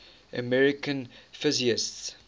american physicists